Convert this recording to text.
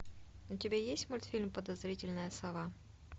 у тебя есть мультфильм подозрительная сова